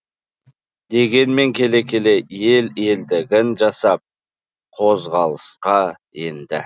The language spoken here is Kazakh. дегенмен келе келе ел елдігін жасап қозғалысқа енді